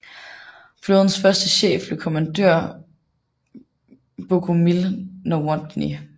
Flådens første chef blev kommandør Bogumił Nowotny